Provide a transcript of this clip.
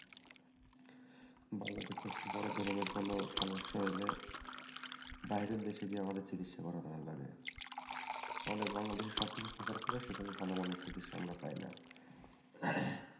একটু বড়ো ধরনের কোনো সমস্যা হলে বাইরের দেশে গিয়ে আমাদের চিকিৎসা করানোর লাগে তাহলে বাংলাদেশে সবকিছু থাকার পরেও সেখানে ভালো মানের চিকিৎসা আমরা পাই না,